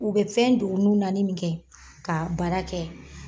U bɛ fɛn don n'u nanin min kɛ ka baara kɛ.